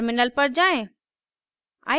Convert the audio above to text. terminal पर जाएँ